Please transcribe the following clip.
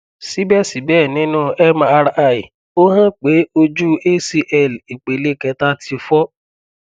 sibẹsibẹ ninu mri o han pe oju acl ipele keta ti fọ